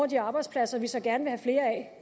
de arbejdspladser vi så gerne vil have flere af